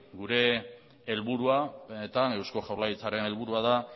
gure helburua eusko jaurlaritzaren helburua da